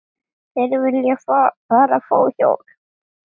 Þeir vilja bara fá hjálp.